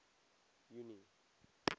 junie